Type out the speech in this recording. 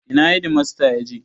Ina hedimasta ya je?